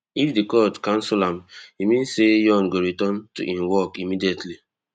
if di court cancel am e mean say yoon go return to im work immediately